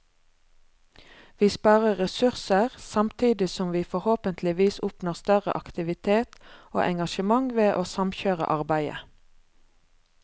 Vi sparer ressurser, samtidig som vi forhåpentligvis oppnår større aktivitet og engasjement ved å samkjøre arbeidet.